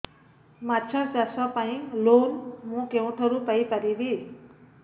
ମାଛ ଚାଷ ପାଇଁ ଲୋନ୍ ମୁଁ କେଉଁଠାରୁ ପାଇପାରିବି